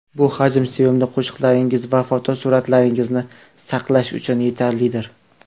Bu hajm sevimli qo‘shiqlaringiz va fotosuratlaringizni saqlash uchun yetarlidir.